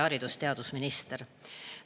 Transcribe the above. Haridus- ja teadusminister!